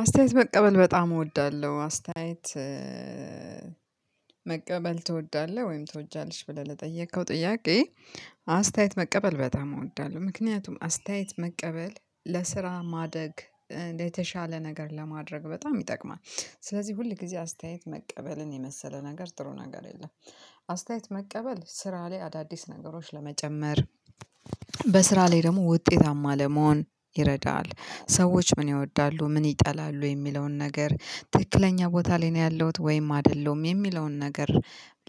አስተያየት መቀበል በጣም እወዳለሁ አስተያየት መቀበል ትወዳለህ ወይም ትወጃለሽ ብለህ ለጠየከው ጥያቄ? አስተያየት መቀበል በጣም እወዳለሁ ምክንያቱም አስተያየት መቀበል ለስራ ማደግ የተሻለ ነገር ለማድረግ በጣም ይጠቅማል። ስለዚህ ሁል ጊዜ አስተያየት መቀበልን የመሰለ ነገር ጥሩ ነገር የለም። አስተያየት መቀበል ስራ ላይ አዳዲስ ነገሮች ለመጨመር በስራ ላይ ደግሞ ውጤታማ ለመሆን ይረዳል። ሰዎች ምን ይወዳሉ ምን ይጠላሉ የሚለውን ነገር ትክክለኛ ቦታ ላይ ነው ያለሁት ወይም አይደለም የሚለውን ነገር።